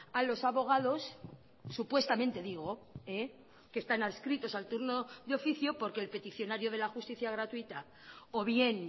a los abogados supuestamente digo que están adscritos al turno de oficio porque el peticionario de la justicia gratuita o bien